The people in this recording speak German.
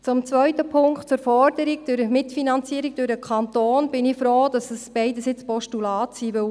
Zum zweiten Punkt, der Forderung der Mitfinanzierung durch den Kanton: Ich bin froh, dass beides nun Postulate sind.